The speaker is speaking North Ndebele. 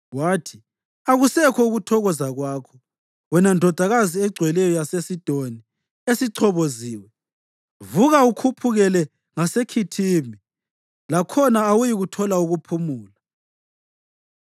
Wathi, “Akusekho ukuthokoza kwakho wena Ndodakazi Egcweleyo yaseSidoni esichoboziwe! Vuka ukhuphukele ngaseKhithimi; lakhona awuyikuthola ukuphumula.”